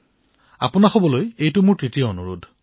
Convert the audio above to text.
আপোনালোক সকলোলৈ মোৰ তৃতীয়টো অনুৰোধ